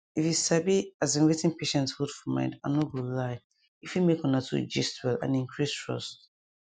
if you sabi asin wetin patients hold for mind i no go lie e fit make una two gist well and increase trust